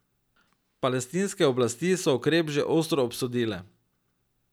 Palestinske oblasti so ukrep že ostro obsodile.